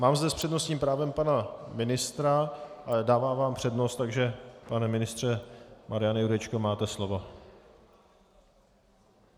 Mám zde s přednostním právem pana ministra a dávám vám přednost, takže pane ministře Mariane Jurečko, máte slovo.